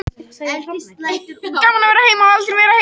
Svokallaður sólvindur er straumur hlaðinna agna frá sólinni.